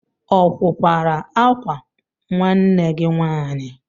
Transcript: Ọ wụ kwara akwa nwanne gị nwaanyị?